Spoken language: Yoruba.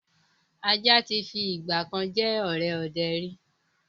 Ajá tí fi ìgbàkan jẹ́ ọ̀rẹ́ ọdẹ ríi